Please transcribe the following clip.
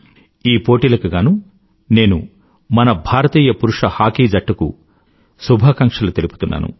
ఈ పోటీలకు గానూ నేను మన భారతీయ పురుష హాకీ జట్టుకు శుభాకాంక్షలు తెలుపుతున్నాను